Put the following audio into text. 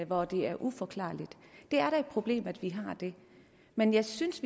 hvor det er uforklarligt det er da et problem at vi har det men jeg synes